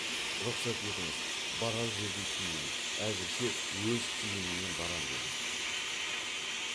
рұхсат етіңіз барар жерде киейін әзірше өз киіміммен барам деген